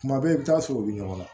Kuma bɛɛ i bɛ taa sɔrɔ u bɛ ɲɔgɔn na